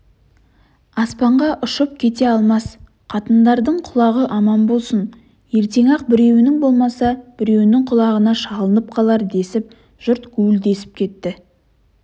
аспанға ұшып кете алмас қатындардың құлағы аман болсын ертең-ақ біреуінің болмаса біреуінің құлағына шалынып қалар десіп жұрт гуілдесіп кетті